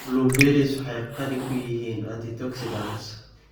Blueberries waxay qani ku yihiin antioxidants.